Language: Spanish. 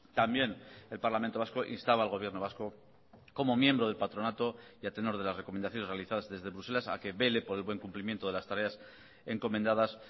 también el parlamento vasco instaba al gobierno vasco como miembro del patronato y a tenor de las recomendaciones realizadas desde bruselas a que vele por el buen cumplimiento de las tareas encomendadas